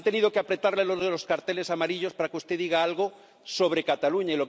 Han tenido que apretarle los de los carteles amarillos para que usted diga algo sobre Cataluña.